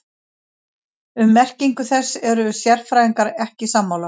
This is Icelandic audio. Um merkingu þess eru sérfræðingar ekki sammála.